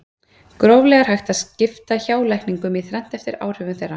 Gróflega er hægt að skipta hjálækningum í þrennt eftir áhrifum þeirra.